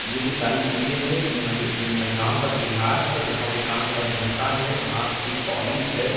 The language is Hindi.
ये जो सारी चीजें हैं ये म अ महिलाओं का श्रृंगार है यहाँ पे कान का झुमका है हाथ की पॉलिश है।